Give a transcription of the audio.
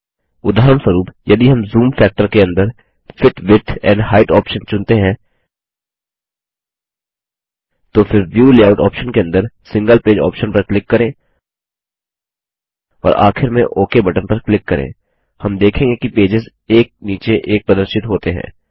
उदाहरणस्वरूप यदि हम ज़ूम फैक्टर के अंदर fit width and height option चुनते हैं तो फिर व्यू लेआउट ऑप्शन के अंदर सिंगल पेज ऑप्शन पर क्लिक करें और आखिर में ओक बटन पर क्लिक करें हम देखेंगे कि पेजेस एक नीचे एक प्रदर्शित होते हैं